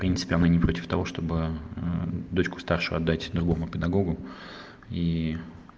в принципе она не против того чтобы дочку старшую отдать другому педагогу и